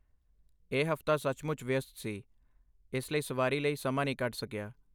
ਇਹ ਹਫ਼ਤਾ ਸੱਚਮੁੱਚ ਵਿਅਸਤ ਸੀ, ਇਸਲਈ ਸਵਾਰੀ ਲਈ ਸਮਾਂ ਨਹੀਂ ਕੱਢ ਸਕਿਆ।